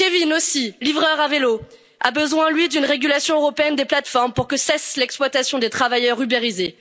haut. Kevin, aussi, livreur à vélo, a besoin, lui, d'une régulation européenne des plateformes pour que cesse l'exploitation de travailleurs ubérisés.